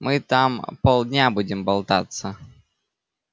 мы там полдня будем болтаться